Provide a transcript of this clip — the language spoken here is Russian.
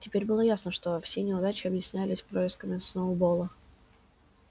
теперь было ясно что все неудачи объяснялись происками сноуболла